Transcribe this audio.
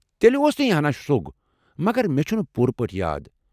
تیلہِ اوس یہِ ہنا شرو٘گ ، مگر مےٚ چھُنہٕ پوٗرٕ پٲٹھۍ یاد ۔